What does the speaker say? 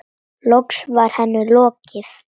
Loks var henni lokið.